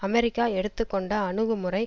America எடுத்து கொண்ட அணுகுமுறை